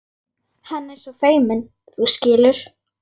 Hann er svo feiminn, þú skilur.